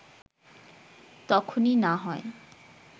তখনই না হয়